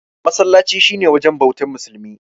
Masallaci shi ne wajen bautar musulmi.